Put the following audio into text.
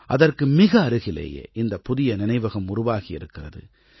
அதற்கு மிக அருகிலேயே இந்தப் புதிய நினைவகம் உருவாகியிருக்கிறது